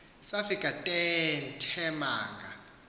safika teethe manga